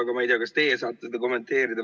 Aga ma ei tea, kas te saate seda kommenteerida.